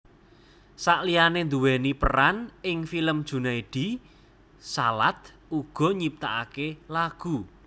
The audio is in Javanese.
Saliyane nduweni peran ing film Junaedi Salat uga nyiptakake lagu